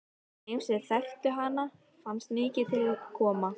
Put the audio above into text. Þeim sem þekktu hana fannst mikið til koma.